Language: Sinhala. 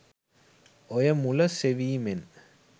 ඔය මුල සෙවීමෙන්